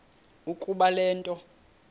ukuba le nto